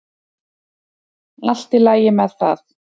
Allt í lagi með það.